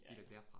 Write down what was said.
Ja